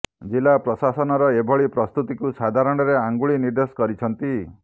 ଜିଲ୍ଲା ପ୍ରଶସାନର ଏଭଳି ପ୍ରସ୍ତୁତିକୁ ସାଧାରଣରେ ଅଙ୍ଗୁଳି ନିର୍ଦ୍ଦେଶ କରିଛନ୍ତି